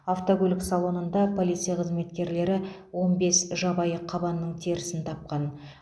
автокөлік салонында полиция қызметкерлері он бес жабайы қабанның терісін тапқан